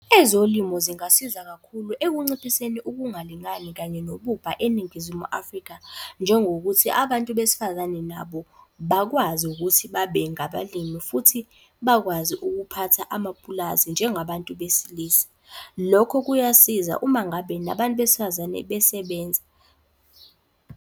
Ezolimo zingasiza kakhulu ekunciphiseni ukungalingani kanye nobubha eNingizimu Afrika. Njengokuthi abantu besifazane nabo bakwazi ukuthi babe ngabalimi futhi bakwazi ukuphatha amapulazi njengabantu besilisa. Lokho kuyasiza uma ngabe nabantu besifazane besebenza.